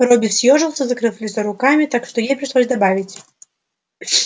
робби съёжился закрыв лицо руками так что ей пришлось добавить